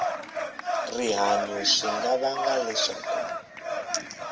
rihanyu swi nga vanga leswaku